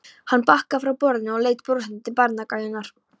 Hann bakkaði frá borðinu og leit brosandi til barnagælunnar.